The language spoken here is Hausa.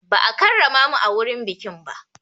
Ba a karrama mu a wurin bikin ba.